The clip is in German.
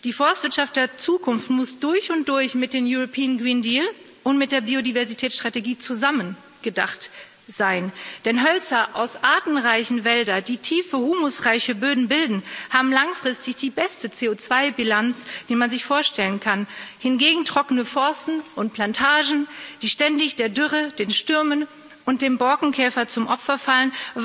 Die Forstwirtschaft der Zukunft muss durch und durch mit dem European Green Deal und mit der Biodiversitätsstrategie zusammen gedacht sein, denn Hölzer aus artenreichen Wäldern, die tiefe, humusreiche Böden bilden, haben langfristig die beste CO2 Bilanz, die man sich vorstellen kann. Hingegen weisen trockene Forste und Plantagen, die ständig der Dürre, den Stürmen und dem Borkenkäfer zum Opfer fallen,